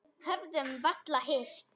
Höfðum varla hist.